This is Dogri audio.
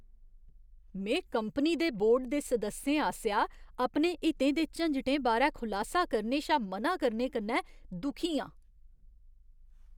में कंपनी दे बोर्ड दे सदस्यें आसेआ अपने हितें दे झंजटें बारै खुलासा करने शा म'ना करने कन्नै दुखी आं ।